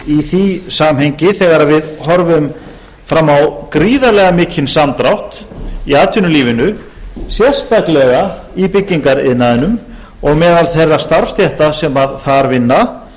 í því samhengi þegar við horfum fram á gríðarlega mikinn samdrátt í atvinnulífinu sérstaklega í byggingariðnaðinum og meðal þeirra starfsstétta sem þar vinna